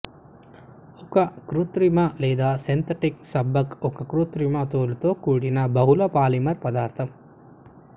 ఒక కృత్రిమ లేదా సింథటిక్ నబ్బక్ ఒక కృత్రిమ తోలుతో కూడిన బహుళ పాలిమర్ పదార్థం